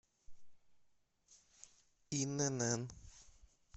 инн